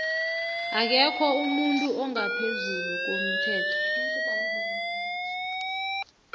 akekho umuntu ongaphezulu komthetho